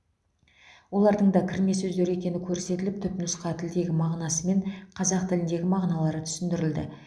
олардың да кірме сөздер екені көрсетіліп түпнұсқа тілдегі мағынасы мен қазақ тіліндегі мағыналары түсіндірілді